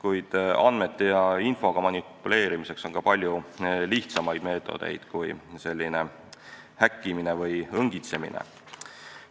Üldiselt on andmete ja infoga manipuleerimiseks ka palju lihtsamaid meetodeid kui häkkimine või õngitsemine.